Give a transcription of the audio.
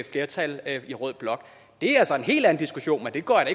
flertal i rød blok det er så en helt anden diskussion men det går jeg